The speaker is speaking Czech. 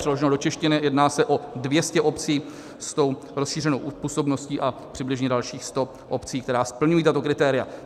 Přeloženo do češtiny, jedná se o 200 obcí s tou rozšířenou působností a přibližně dalších 100 obcí, které splňují tato kritéria.